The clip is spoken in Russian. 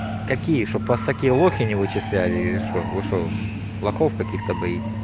какие чтобы вас всякие лохи не вычисляли или что вы что лохов каких-то боитесь